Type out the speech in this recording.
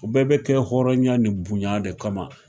U bɛɛ bɛ kɛ hɔrɔnya ni bunya de kama